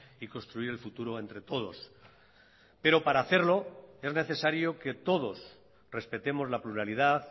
y construir el futuro entre todos pero para hacerlo es necesario que todos respetemos la pluralidad